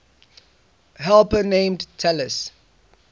helper named talus